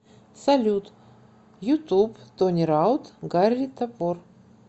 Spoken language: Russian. салют ютуб тони раут гарри топор